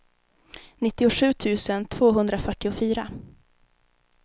nittiosju tusen tvåhundrafyrtiofyra